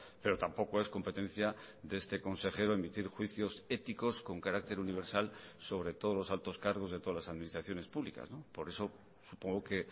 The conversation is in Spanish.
pero tampoco es competencia de este consejero emitir juicios éticos con carácter universal sobre todos los altos cargos de todas las administraciones públicas por eso supongo que